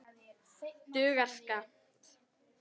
Dugar skammt.